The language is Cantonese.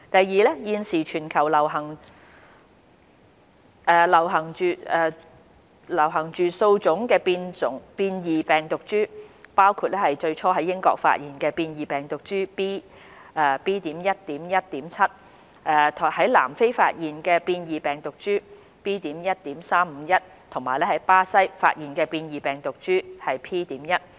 二現時，全球流行着數種變異病毒株，包括最初在英國發現的變異病毒株 "B.1.1.7"、在南非發現的變異病毒株 "B.1.351" 及在巴西發現的變異病毒株 "P.1"。